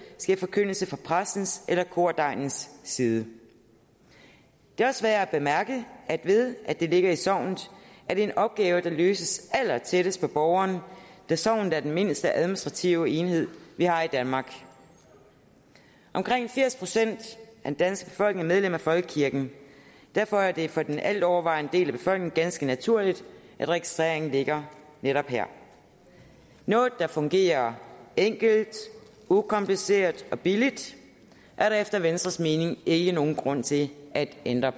sker forkyndelse fra præstens eller kordegnens side det er også værd at bemærke at det ved at det ligger i sognet er en opgave der løses allertættest på borgerne da sognet er den mindste administrative enhed vi har i danmark omkring firs procent af den danske befolkning er medlemmer af folkekirken derfor er det for den altovervejende del af befolkningen ganske naturligt at registreringen ligger netop her noget der fungerer enkelt ukompliceret og billigt er der efter venstres mening ikke nogen grund til at ændre